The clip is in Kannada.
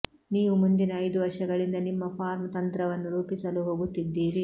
ನೀವು ಮುಂದಿನ ಐದು ವರ್ಷಗಳಿಂದ ನಿಮ್ಮ ಫಾರ್ಮ್ ತಂತ್ರವನ್ನು ರೂಪಿಸಲು ಹೋಗುತ್ತಿದ್ದೀರಿ